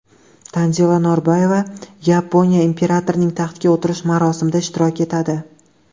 Tanzila Norboyeva Yaponiya imperatorining taxtga o‘tirish marosimida ishtirok etadi.